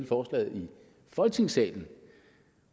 forslaget i folketingssalen